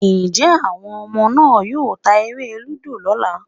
Njẹ́ àwọn ọmọ náà yóò ta eré-lúdò lọ́ la?